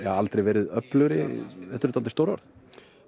aldrei verið öflugri þetta eru stór orð